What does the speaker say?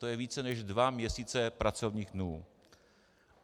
To je více než dva měsíce pracovních dnů.